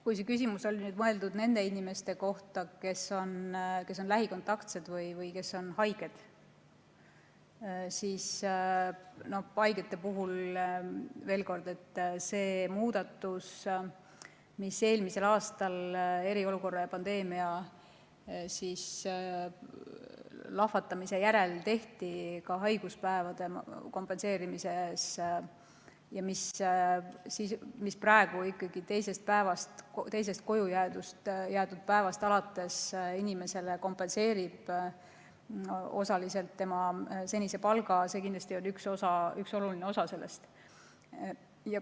Kui see küsimus on mõeldud nende inimeste kohta, kes on haiged, siis pean ütlema, et haigete puhul see muudatus, mis eelmisel aastal eriolukorra ja pandeemia lahvatamise järel haiguspäevade kompenseerimiseks tehti ja mille alusel praegu ikkagi teisest koju jäädud päevast alates inimesele kompenseeritakse osaliselt tema senine palk, on kindlasti üks oluline osa sellest.